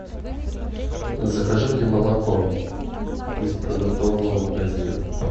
закажи мне молоко из продуктового магазина